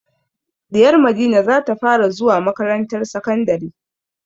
Ɗiyar Madina za ta fara zuwa makarantar sakandari.